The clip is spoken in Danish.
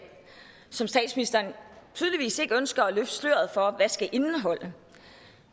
som statsministeren tydeligvis ikke ønsker at løfte sløret for hvad skal indeholde